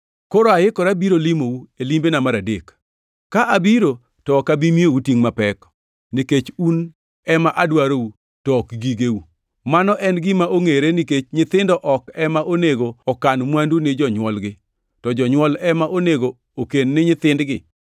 Koro aikora biro limou e limbena mar adek. Ka abiro to ok abi miyou tingʼ mapek, nikech un ema adwarou, to ok gigeu. Mano en gima ongʼere, nikech nyithindo ok ema onego okan mwandu ni jonywolgi, to jonywol ema onego oken ni nyithindgi.